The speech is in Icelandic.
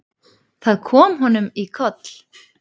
Það kom honum í koll.